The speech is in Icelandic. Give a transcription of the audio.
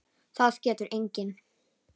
Það getur enginn!